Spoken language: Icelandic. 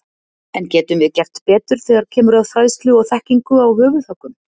En getum við gert betur þegar kemur að fræðslu og þekkingu á höfuðhöggum?